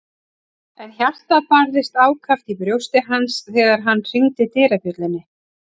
En hjartað barðist ákaft í brjósti hans þegar hann hringdi dyrabjöllunni.